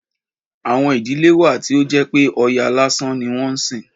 Àwọn ìdílé wà tí ó jẹ́ pé Ọya lásán ni wọ́n ń sìn.